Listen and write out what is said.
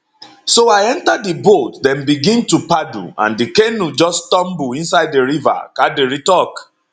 so i enta di boat dem begin to paddle and di canoe just tumble inside di river kadiri tok